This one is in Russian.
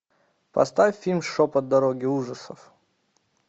поставь фильм шепот дороги ужасов